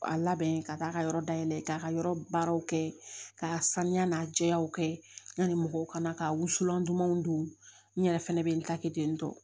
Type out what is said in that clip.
A labɛn ka taa ka yɔrɔ dayɛlɛ k'a ka yɔrɔ baaraw kɛ k'a saniya n'a jɛyaw kɛ ɲani mɔgɔw kana ka wusulan dumanw don n yɛrɛ fɛnɛ bɛ n ta kɛ ten tɔ